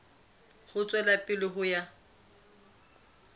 ho tswela pele ho ya